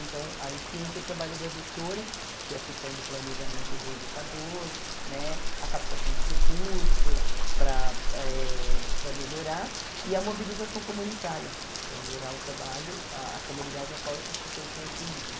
Então, aí que entra o trabalho da gestora, que é a questão do planejamento do educador, né a captação de recurso para eh para melhorar e a mobilização comunitária para melhorar o trabalho, ah a comunidade a qual essas pessoas estão inseridas.